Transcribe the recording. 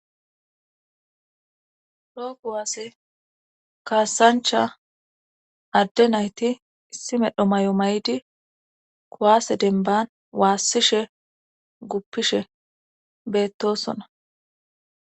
roo kuwaasse kaassancha adde nayti issi medho may7o may7idi kuwaase denban waassishe guppishe beettosona